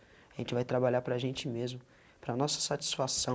A gente vai trabalhar para a gente mesmo, para a nossa satisfação.